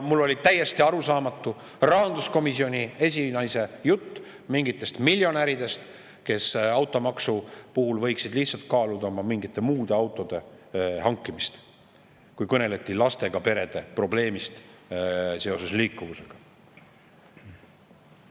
Mulle oli täiesti arusaamatu rahanduskomisjoni esinaise jutt mingitest miljonäridest, kes automaksu puhul võiksid kaaluda mingite muude autode hankimist, kui kõneleti lastega perede liikumisprobleemist.